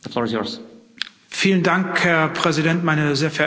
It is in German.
Herr Präsident, meine sehr verehrten Damen und Herren Abgeordnete!